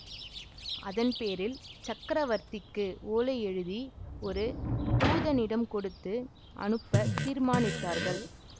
அதன் பேரில் சக்கரவர்த்திக்கு ஓலை எழுதி ஒரு தூதனிடம் கொடுத்து அனுப்பத் தீர்மானித்தார்கள்